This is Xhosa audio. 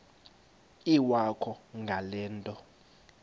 iwakho ngale nto